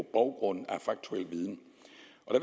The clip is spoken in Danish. baggrund af faktuel viden